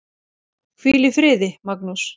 Hvíl í friði, Magnús.